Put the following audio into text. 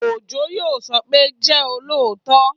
Òjó yóò sọ pé, "jẹ́ olóòótọ